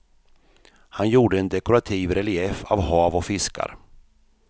Han gjorde en dekorativ relief av hav och fiskar.